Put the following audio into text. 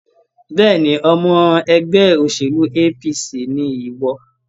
Bẹ́ẹ̀ni, ọmọ ẹgbẹ́ òṣèlú APC ni ìwọ